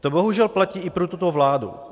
To bohužel platí i pro tuto vládu.